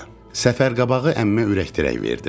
Səfər qabağı əmmə ürəkdirək verdim.